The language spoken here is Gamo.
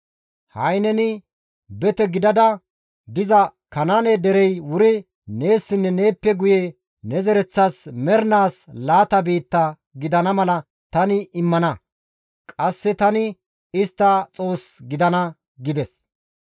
Ha7i neni bete gidada diza Kanaane derey wuri neessinne neeppe guye ne zereththas mernaas laata biitta gidana mala tani immana; qasse tani istta Xoos gidana» gides.